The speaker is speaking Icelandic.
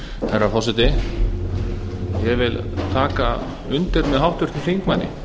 herra forseti ég vil taka undir með háttvirtum þingmanni